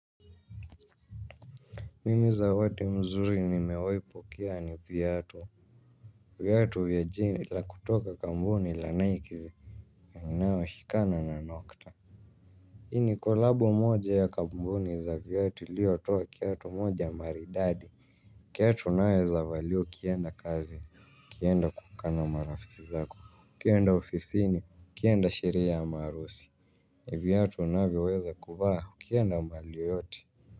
Mimi zawadi mzuri nimewaipokea ni viatu. Viatu ya jina la kutoka kambuni la Nike inayoshikana na nokta. Hii ni kolabo moja ya kambuni za viatu ilio toa kiatu moja maridadi. Kiatu naweza valia ukienda kazi, ukienda kukaa na marafiki zako, ukienda ofisini, ukienda sherehe ama harusi. Viatu unavyoweza kuvaa ukienda mali yote.